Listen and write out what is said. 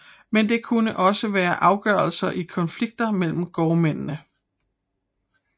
Men det kunne også være afgørelser i konflikter mellem gårdmændene